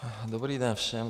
Dobrý den všem.